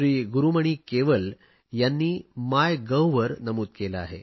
गुरुमणी केवल यांनी माय गव्हवर नमूद केले आहे